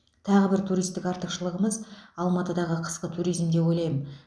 тағы бір туристік артықшылығымыз алматыдағы қысқы туризм деп ойлаймын